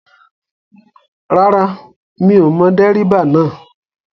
Rárá mi ò mọ dẹ́ríbà náà